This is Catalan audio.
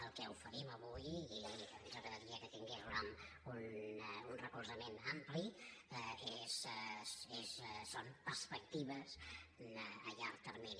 el que oferim avui i ens agradaria que tingués un recolzament ampli són perspectives a llarg termini